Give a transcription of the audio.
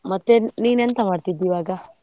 ಮತ್ತೆ ನೀನ್ ಎಂತ ಮಾಡ್ತಿದ್ದಿ ಇವಾಗ?